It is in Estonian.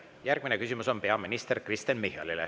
Järgmine küsimus on peaminister Kristen Michalile.